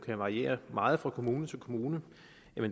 variere meget fra kommune til kommune